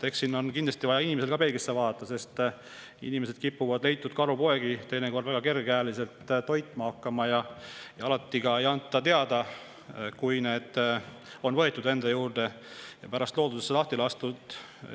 Eks siin on kindlasti vaja inimestel ka peeglisse vaadata, sest inimesed kipuvad leitud karupoegi teinekord väga kergekäeliselt toitma hakkama, aga alati ei anta teada, kui need on võetud enda juurde ja pärast loodusesse lahti lastud.